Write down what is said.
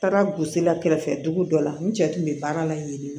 N taara bosia kɛrɛfɛ dugu dɔ la n cɛ tun bɛ baara la yen nɔ